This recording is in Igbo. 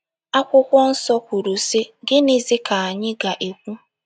Akwụkwọ nsọ kwuru, sị: “ Gịnịzi ka anyị ga - ekwu?